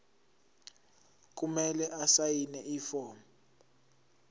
kumele asayine ifomu